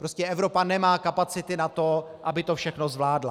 Prostě Evropa nemá kapacity na to, aby to všechno zvládla.